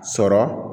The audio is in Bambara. Sɔrɔ